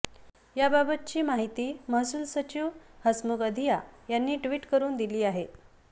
याबाबतची माहिती महसूल सचिव हसमुख अधिया यांनी ट्विट करून दिली आहे